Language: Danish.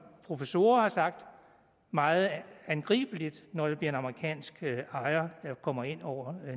professorer har sagt det meget angribeligt når det bliver en amerikansk ejer der kommer ind over